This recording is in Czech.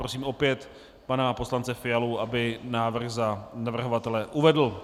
Prosím opět pana poslance Fialu, aby návrh za navrhovatele uvedl.